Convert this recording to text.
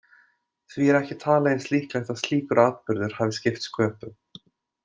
Því er ekki talið eins líklegt að slíkur atburður hafi skipt sköpum.